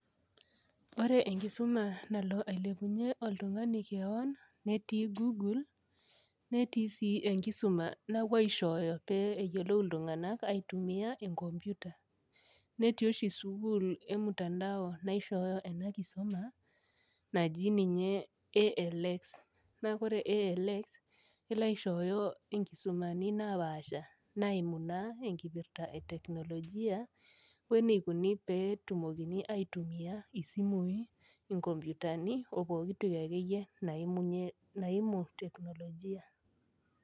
Ore enkisuma nalo ailepunyie oltung'ani kewon netii google netii sii enkisuma napuo aishooyo pee eyiolou iltung'anak aitumia enkompiuta netii oshi sukuul emtandao naishooyo ena kisuma naji ninye ALX naa kore ALX kelo aishooyo enkisumani napaasha naimu naa enkipirrta e teknolojia weneikoni petumokini aitumia isimui inkompiutani opokitoki akeyie naimunyie naimu teknolojia.